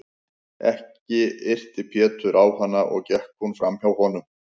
Ekki yrti Pétur á hana og gekk hún fram hjá honum.